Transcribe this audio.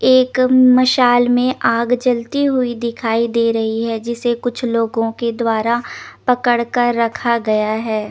एक मशाल में आग जलती हुई दिखाई दे रही है जिसे कुछ लोगों के द्वारा पकड़ कर रखा गया है।